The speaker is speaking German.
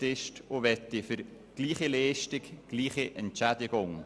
sie möchte für gleiche Leistung die gleiche Entschädigung.